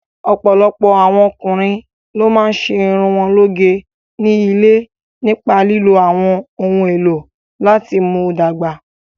Ọ̀pọ̀lọpọ̀ àwọn ọkùnrin ló máa ń ṣe irun wọn lóge ní ilé nípa lílo àwọn ohun èlò láti mú dàgbà.